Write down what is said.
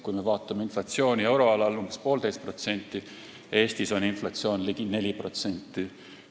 Kui me vaatame inflatsiooni euroalal, mis on umbes poolteist protsenti, siis Eestis on inflatsioon ligi 4%.